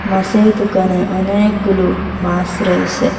পাশের দুকানে অনেকগুলো মাস রয়েসে।